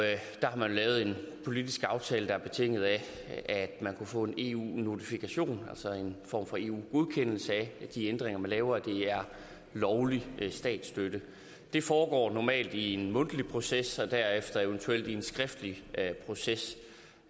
der har man jo lavet en politisk aftale der er betinget af at man kunne få en eu notifikation altså en form for eu godkendelse af at de ændringer man laver er lovlig statsstøtte det foregår normalt i en mundtlig proces og derefter eventuelt i en skriftlig proces